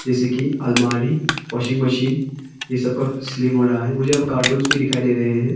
जैसे कि अलमारी वाशिंग मशीन यह सब का सेलिंग हो रहा है मुझे अब कार्टूंस भी दिखाई दे रहे हैं।